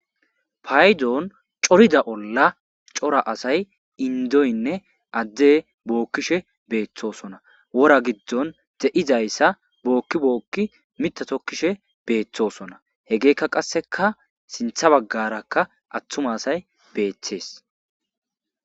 Paydoon corida olla cora asay indoynne adde bookkishe beeththosona wora giddon de'izayssa bookki bookki mitatokkishe beeththosona he geekka qasseka sintha baggarakka attuma asay beeththees.